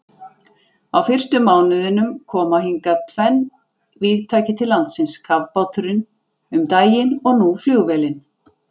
Á fyrsta mánuðinum koma hingað tvenn vígtæki til landsins, kafbáturinn um daginn og nú flugvélin.